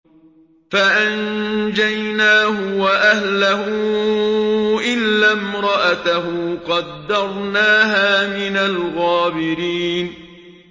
فَأَنجَيْنَاهُ وَأَهْلَهُ إِلَّا امْرَأَتَهُ قَدَّرْنَاهَا مِنَ الْغَابِرِينَ